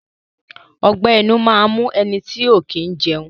Ọgbẹ́ inú máa ń mu ẹnití ọ̀ kí ń jẹun